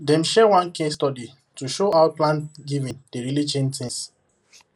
dem share one case study to show how planned giving dey really change things